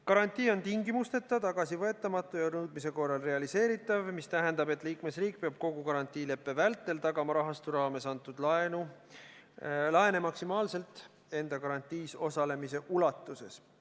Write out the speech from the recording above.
Garantii on tingimusteta, tagasivõetamatu ja nõudmise korral realiseeritav, mis tähendab, et liikmesriik peab kogu garantiileppe vältel tagama rahastu raames antud laene maksimaalselt enda garantiis osalemise ulatuses.